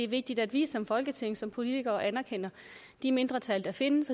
vigtigt at vi som folketing og som politikere anerkender de mindretal der findes